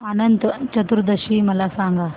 अनंत चतुर्दशी मला सांगा